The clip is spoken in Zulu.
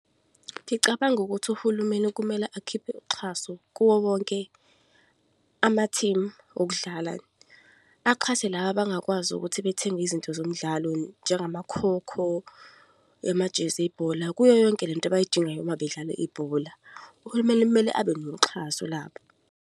Ngicabanga ukuthi uhulumeni kumele akhiphe uxhaso kuwo wonke amathimu okudlala. Axhase laba abangakwazi ukuthi bethenge izinto zomdlalo, njengamakhokho, amajezi ebhola, kuyo yonke lento abayidingayo uma bedlala ibhola. Uhulumeni kumele abe noxhaso lapho.